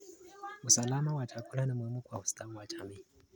Usalama wa chakula ni muhimu kwa ustawi wa jamii.